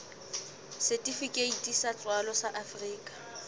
setifikeiti sa tswalo sa afrika